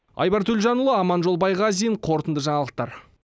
айбар төлжанұлы аманжол байғазин қорытынды жаңалықтар